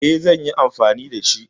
E, zan yi anfani da shi.